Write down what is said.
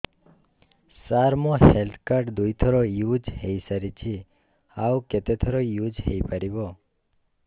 ସାର ମୋ health card ଦୁଇ ଥର ୟୁଜ଼ ହୈ ସାରିଛି ଆଉ କେତେ ଥର ୟୁଜ଼ ହୈ ପାରିବ